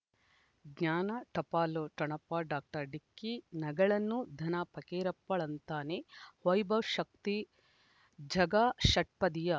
ಜ್ಞಾನ ಟಪಾಲು ಠೊಣಪ ಡಾಕ್ಟರ್ ಢಿಕ್ಕಿ ಣಗಳನು ಧನ ಫಕೀರಪ್ಪ ಳಂತಾನೆ ವೈಭವ್ ಶಕ್ತಿ ಝಗಾ ಷಟ್ಪದಿಯ